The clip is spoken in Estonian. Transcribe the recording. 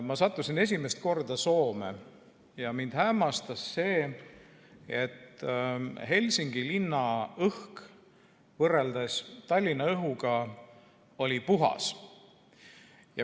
Ma sattusin siis esimest korda Soome ja mind hämmastas see, et Helsingi õhk oli võrreldes Tallinna õhuga puhas.